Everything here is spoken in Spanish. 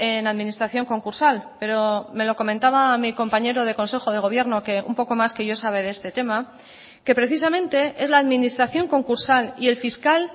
en administración concursal pero me lo comentaba mi compañero de consejo de gobierno que un poco más que yo sabe de este tema que precisamente es la administración concursal y el fiscal